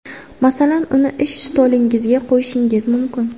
Masalan, uni ish stolingizga qo‘yishingiz mumkin.